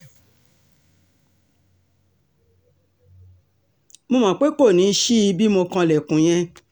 mo mọ̀ pé kò ní í ṣí i bí mo kanlẹ̀kùn yẹn